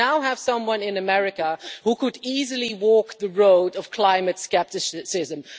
We now have someone in America who could easily walk the road of climate scepticism.